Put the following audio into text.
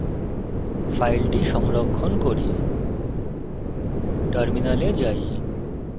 save icon টিপে file সংরক্ষণ করি